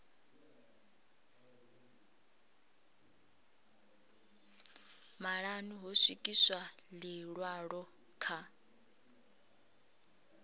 maṱanu ho swikiswa ḽiṅwalo kha